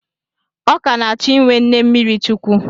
Ọ ka na-achọ inwe nne mmiri chukwu.